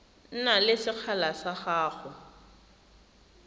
na le sekgala sa go